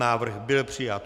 Návrh byl přijat.